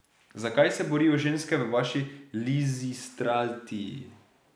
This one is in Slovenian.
Za kaj se borijo ženske v vaši Lizistrati?